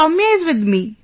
Soumya is with me